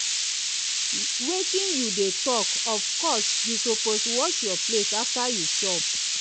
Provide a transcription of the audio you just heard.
wetin you dey talk of course you suppose wash your plate after you chop